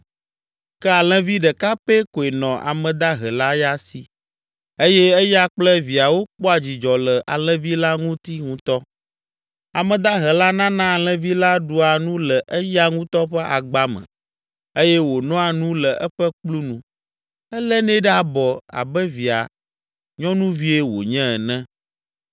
ke alẽvi ɖeka pɛ koe nɔ ame dahe la ya si eye eya kple viawo kpɔa dzidzɔ le alẽvi la ŋu ŋutɔ. Ame dahe la nana alẽvi la ɖua nu le eya ŋutɔ ƒe agba me eye wònoa nu le eƒe kplu nu. Elénɛ ɖe abɔ abe via nyɔnuvie wònye ene.